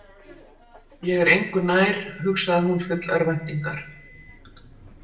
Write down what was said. Ég er engu nær, hugsaði hún full örvæntingar.